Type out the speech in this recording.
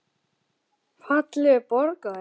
Fallegur borgari?